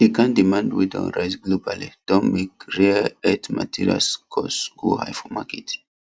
the kain demand wey don rise globally don make rare earth materials cost go high for market